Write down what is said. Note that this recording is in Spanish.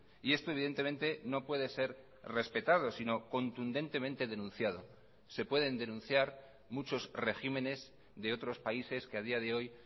y esto evidentemente no puede ser respetado sino contundentemente denunciado se pueden denunciar muchos regímenes de otros países que a día de hoy